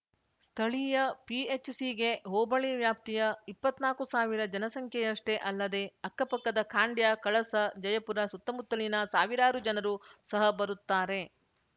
ಸ್ಥಳೀಯ ಪಿಎಚ್‌ಸಿಗೆ ಹೋಬಳಿ ವ್ಯಾಪ್ತಿಯ ಇಪ್ಪತ್ತ್ನಾಕು ಸಾವಿರ ಜನಸಂಖ್ಯೆಯಷ್ಟೇ ಅಲ್ಲದೇ ಅಕ್ಕಪಕ್ಕದ ಖಾಂಡ್ಯ ಕಳಸ ಜಯಪುರ ಸುತ್ತಮುತ್ತಲಿನ ಸಾವಿರಾರು ಜನರು ಸಹ ಬರುತ್ತಾರೆ